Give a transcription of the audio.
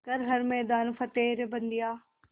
कर हर मैदान फ़तेह रे बंदेया